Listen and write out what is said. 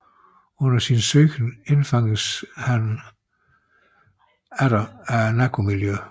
Under sin søgen indfanges han atter af narkomiljøet